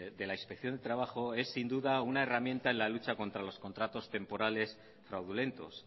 de la inspección de trabajo es sin duda una herramienta en la lucha contra los contratos temporales fraudulentos